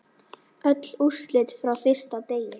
Öll úrslit frá fyrsta degi